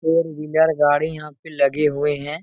Four wheeler गाड़ी यहाँ पे लगे हुए हैं।